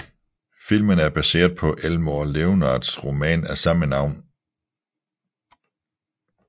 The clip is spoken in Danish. Filmen er baseret på Elmore Leonards roman af samme navn